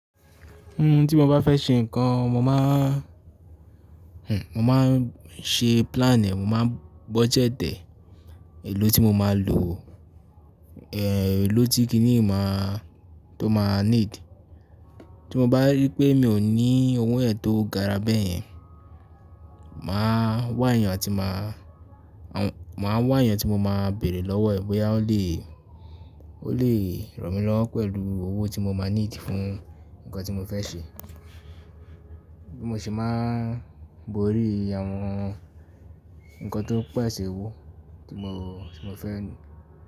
Un tí mo bá fẹ́ ṣe nǹkan, mo máa n, mo máa n ṣe plan ẹ̀, mo máa n budget ẹ̀, èlò tí mo máa lò, eh, èlò tí kíní máa, tó máa need. Tí mo bá rí pé mi ò ní owó ẹ̀ tó gara bẹ́ẹ̀ yẹn, mà á wá èèyàn tí mà á, mà á wá èèyàn tí mo máa bèèrè lọ́wọ́ ẹ̀ bóyá ó lè, ó lè ràn mí lọ́wọ́ pẹ̀lú owó tí mo máa need fún nǹkan tí mo fẹ́ ṣe. Bí mo ṣe máa ń borí àwọn nǹkan tó pẹ̀sẹ̀ owó tí mo, tí mo fẹ́